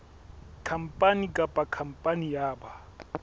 khampani kapa khampani ya ba